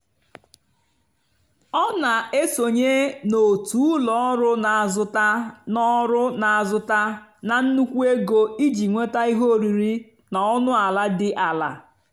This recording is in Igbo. ọ́ nà-èsònyé n'ótù ụ́lọ ọ́rụ́ nà-àzụ́tá nà ọ́rụ́ nà-àzụ́tá nà nnùkwú égó ìjì nwétá íhé órírì nà ónú àlà dì àlà.